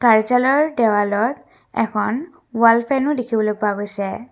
কাৰ্য্যালয়ৰ দেৱালত এখন ওৱাল ফেনও দেখিবলৈ পোৱা গৈছে।